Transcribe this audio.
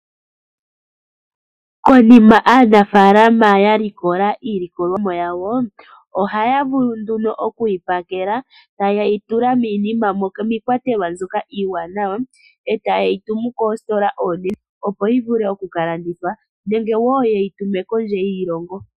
Konima aanafalama yalikola iilikolomwa yawo ohaya vulu okuyipakela taye yitula miikwatelwa mbyoka iiwanawa taye yitumu koositola odhindji opo yivule okukalandithwa nenge yeyi tume woo kondje hiilongo.